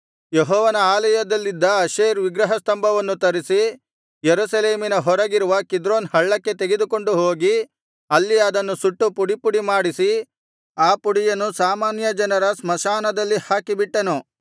ಯೆಹೋವನ ಆಲಯದಲ್ಲಿದ್ದ ಅಶೇರ್ ವಿಗ್ರಹಸ್ತಂಭವನ್ನು ತರಿಸಿ ಯೆರೂಸಲೇಮಿನ ಹೊರಗಿರುವ ಕಿದ್ರೋನ್ ಹಳ್ಳಕ್ಕೆ ತೆಗೆದುಕೊಂಡು ಹೋಗಿ ಅಲ್ಲಿ ಅದನ್ನು ಸುಟ್ಟು ಪುಡಿಪುಡಿ ಮಾಡಿಸಿ ಆ ಪುಡಿಯನ್ನು ಸಾಮಾನ್ಯ ಜನರ ಸ್ಮಶಾನದಲ್ಲಿ ಹಾಕಿಬಿಟ್ಟನು